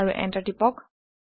আৰু এণ্টাৰ টিপক